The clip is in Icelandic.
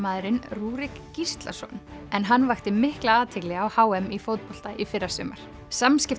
fótboltamaðurinn Rúrik Gíslason en hann vakti mikla athygli á h m í fótbolta í fyrrasumar